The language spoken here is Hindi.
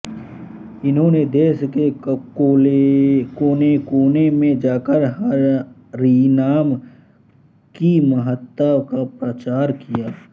इन्होंने देश के कोनेकोने में जाकर हरिनाम की महत्ता का प्रचार किया